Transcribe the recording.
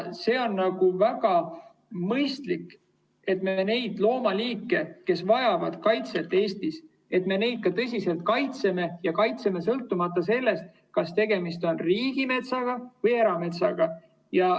See on väga mõistlik, et me neid loomaliike, kes Eestis vajavad kaitset, tõsiselt kaitseme ja kaitseme sõltumata sellest, kas tegemist on riigimetsa või erametsaga.